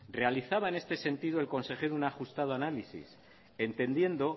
realizaba en este sentido el consejero un ajustado análisis entendiendo